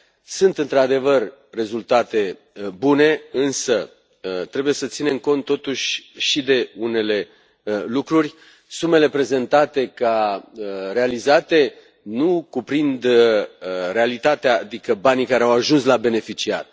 Sunt într adevăr rezultate bune, însă trebuie să ținem cont totuși și de unele lucruri sumele prezentate ca realizate nu cuprind realitatea, adică banii care au ajuns la beneficiari.